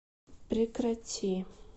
прекрати